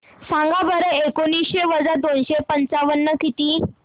सांगा बरं एकोणीसशे वजा दोनशे पंचावन्न किती